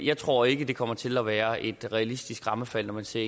jeg tror ikke at det kommer til at være realistisk rammefald når man ser